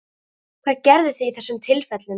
Hvað gerðuð þið í þessum tilfellum?